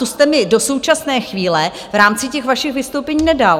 To jste mi do současné chvíle v rámci těch vašich vystoupení nedal.